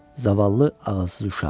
Zavallı ağızsız uşaq.